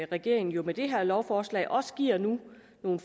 regeringen nu med det her lovforslag også giver nogle